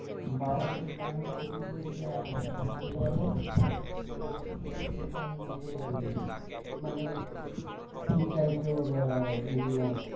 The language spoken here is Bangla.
বাওয়া সির বাংলা তে কি বলি আর এটাকে কি বলে সেটাই মানে কি type এর আহ